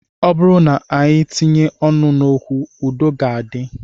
Ọ bụrụ na e tinye ọnụ n'okwu, udo ga-adị